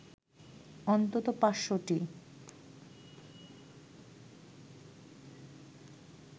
অন্তত ৫০০টি